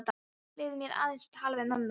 Leyfðu mér aðeins að tala við mömmu þína aftur.